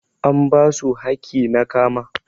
An basu hakki na kama.